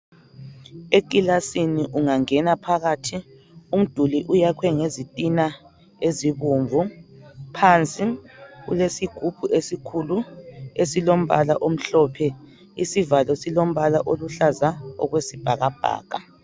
Ekilasini ungangena phakathi umduli uyakhwe ngezitina ezibomvu, phansi ulesigubhu esikhulu esilombala omhlophe. Isivalo silombala oluhlaza okwesibhakabhaka.